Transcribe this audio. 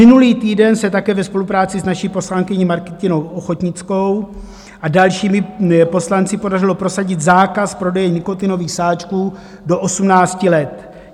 Minulý týden se také ve spolupráci s naší poslankyní Martinou Ochodnickou a dalšími poslanci podařilo prosadit zákaz prodeje nikotinových sáčků do 18 let.